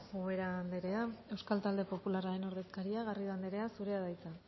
ubera anderea euskal talde popularraren ordezkaria garrido anderea zurea da hitza